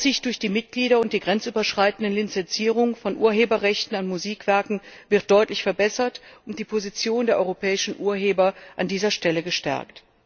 Die Aufsicht durch die Mitglieder und die grenzüberschreitende Lizenzierung von Urheberrechten an Musikwerken werden deutlich verbessert und die Position der europäischen Urheber wird an dieser Stelle gestärkt.